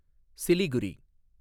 Siliguri